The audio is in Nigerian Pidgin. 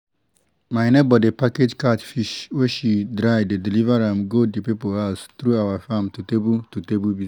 my neighbor dey package catfish wey she dry dey deliver am go the people house through our farm to table to table business